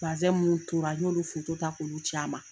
Bazɛn minnu tora n y'olu ta k'ulu c'a ma.